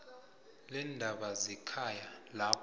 leendaba zekhaya lapho